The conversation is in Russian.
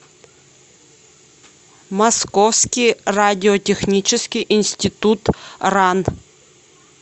московский радиотехнический институт ран